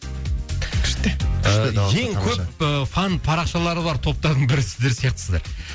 күшті күшті көп фан парақшалары бар топтардың бірі сіздер сияқтысыздар